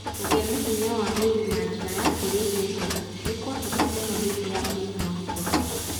Kũgĩa na hinya wa mwĩrĩ na njĩra ya kũrĩa irio njega nĩ kwa bata mũno hĩndĩ ya mũrimũ wa corona.